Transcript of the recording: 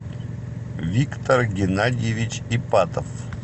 виктор геннадьевич ипатов